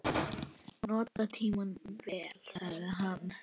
Nota tímann vel, sagði hann.